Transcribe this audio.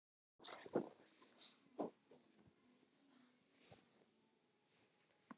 Þannig voru þið.